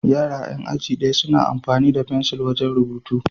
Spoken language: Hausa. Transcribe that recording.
Yara 'yan aji ɗaya suna amfani da fensil wajen rubutu.